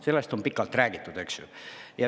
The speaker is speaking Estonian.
Sellest on pikalt räägitud, eks ju.